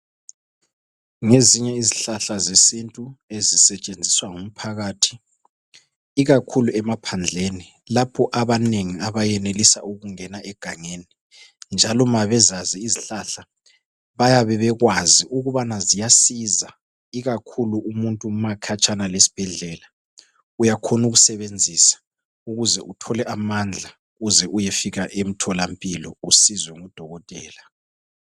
Ngezinye izihlahla zesintu esisentshenziswa ngumphakathi ikakhulu emaphandleni lapho abanengi abayenelisa ukungena egangeni. Njalo ma bezazi izihlahla bayabe bekwazi ukubana ziyasiza ikakhulu umuntu ma ekhatshana lesibhedlela uyakhona ukusebenzisa ukuze uthole amandla uze uyefika emtholampilo usizwe ngodokotela.